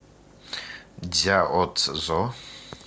цзяоцзо